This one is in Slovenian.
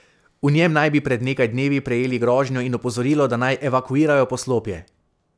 V njem naj bi pred nekaj dnevi prejeli grožnjo in opozorilo, da naj evakuirajo poslopje.